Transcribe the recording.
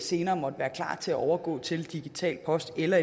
senere måtte være klar til at overgå til digital post eller